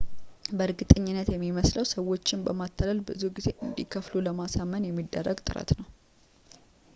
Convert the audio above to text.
በእርግጠኝነት የሚመስለውም ሰዎችን በማታለል ብዙ እንዲከፍሉ ለማሳመን የሚደረግ ጥረት ነው